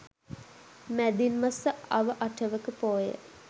මැදින් මස අව අටවක පෝය